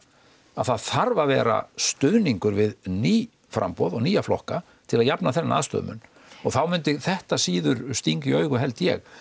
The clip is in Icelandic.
að það þarf að vera stuðningur við ný framboð og nýja flokka til að jafna þennan aðstöðumun og þá myndi þetta síður stinga í augu held ég